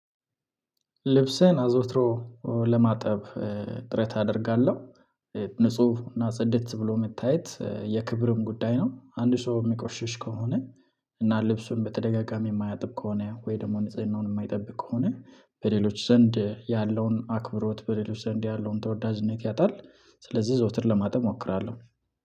ልብስህን አዘውትሮ ለማጠብ ጥረት አደርጋለሁ ንጹህ እና ፀደት ብሎ የመታየት የክብርም ጉዳይ ነው። አንድ ሰው የሚቆሽሽ ከሆነ እና ልብሱን በተደጋጋሚ የማያጥብ ከሆነ ወይ ደግሞ ንጽህናውን የማይጠብቅ ከሆነ በሌሎች ዘንድ ያለውን አክብሮት በሌሎች ዘንድ ያለውን ተወዳጅነት ያጣል። ስለዚህ ዘወትር ለማጥበብ እሞክራለሁ